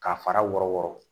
K'a fara wɔrɔ wɔrɔ